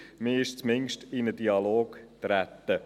Man ist zumindest in einen Dialog getreten.